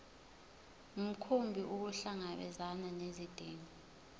mkhumbi ukuhlangabezana nezidingo